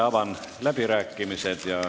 Avan läbirääkimised.